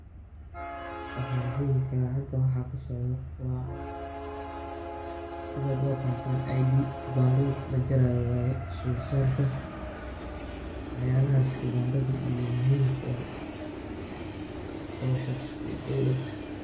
Waxan sheegi karaa halkan waxa kasocdo wa sidad u aqantan ID kibandhada lajarayo waye, sul saarka waxyalahas kibandhada iyo muhimka u ah oo shaqsiyada dowlad